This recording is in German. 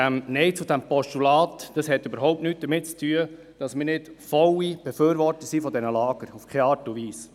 Das Nein zum Postulat hat überhaupt nichts damit zu tun, dass wir nicht volle Befürworter dieser Lager sind, auf keine Art und Weise.